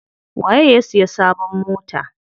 Waye ya siya sabon mota?